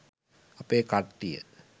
අපේ කට්ටිය